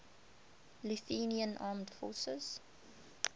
lithuanian armed forces